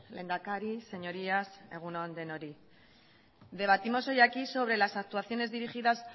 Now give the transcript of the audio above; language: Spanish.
lehendakari señorías egun on denoi debatimos hoy aquí sobre las actuaciones dirigidas